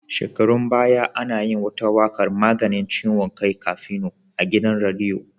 Shekarun baya ana yin wata waƙar 'maganin ciwon kai Kafino' a gidan rediyo.